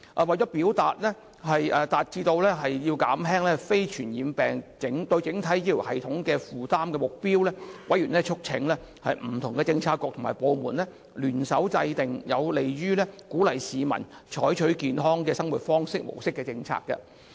為達致減輕非傳染病對整體醫療系統的負擔的目標，委員促請不同的政策局和部門聯手制訂有利於鼓勵市民採取健康的生活模式的政策。